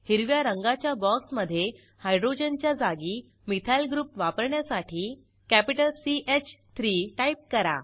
हिरव्या रंगाच्या बॉक्समधे हायड्रोजनच्या जागी मिथाइल ग्रुप वापरण्यासाठी कॅपिटल सी ह 3 टाईप करा